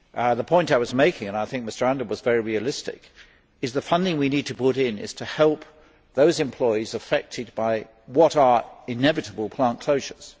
The point I was making, and I think Mr Andor was very realistic, is that the funding we need to put in is to help those employees affected by what are inevitable plant closures.